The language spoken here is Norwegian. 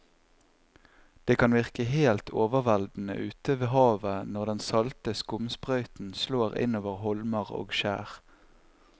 Det kan virke helt overveldende ute ved havet når den salte skumsprøyten slår innover holmer og skjær.